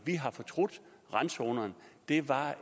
vi har fortrudt randzonerne de var